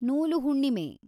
ನೂಲು ಹುಣ್ಣಿಮೆ